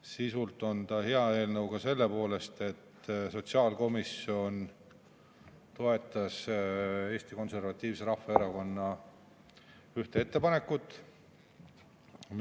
Sisult on see hea eelnõu ka selle poolest, et sotsiaalkomisjon toetas Eesti Konservatiivse Rahvaerakonna ühte ettepanekut.